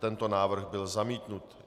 Tento návrh byl zamítnut.